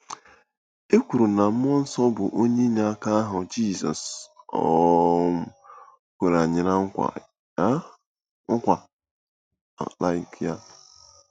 Ị kwuru na mmụọ nsọ bụ onye inyeaka ahụ Jizọs um kwere anyị ná nkwa um. nkwa um.